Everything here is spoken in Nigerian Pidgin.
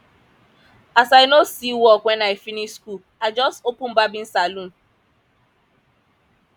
as i no see work wen i finish skool i just open barbing saloon